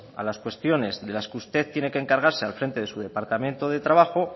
a las cuestiones de las que usted tiene que encargarse al frente de su departamento de trabajo